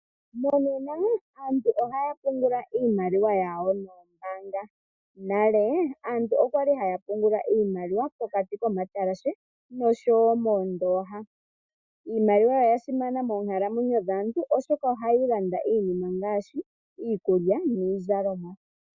Monena aantu ohaya pungula iimaliwa yawo noombaanga. Nale aantu okwali haya iimaliwa pokati komatalashe noshowoo moondooha. Iimaliwa oyasimana moonkalamwenyo dhaantu oshoka ohayi landa iinima ngaashi iikulya niizalomwa.